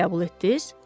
Qəbul etdiz?